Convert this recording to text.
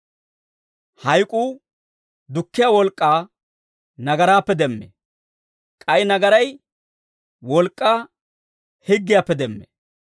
Hayk'uu dukkiyaa wolk'k'aa nagaraappe demmee; k'ay nagaray wolk'k'aa higgiyaappe demmee.